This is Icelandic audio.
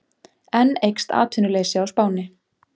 Enn eykst atvinnuleysi á Spáni